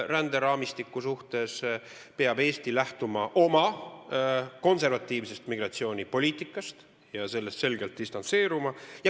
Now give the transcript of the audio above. Ränderaamistiku puhul peab Eesti lähtuma oma konservatiivsest migratsioonipoliitikast ja sellest selgelt distantseeruma.